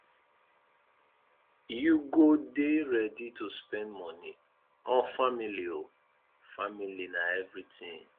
you go dey ready to spend moni on family o family na everytin